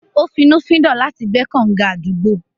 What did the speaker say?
Ó finnúfíndọ̀ láti gbẹ́ kànǹga àdúgbò.